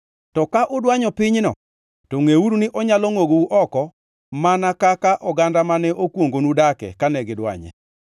To ka udwanyo pinyno, to ngʼeuru ni onyalo ngʼogou oko mar oganda mane okwongonu dake kane gidwanye.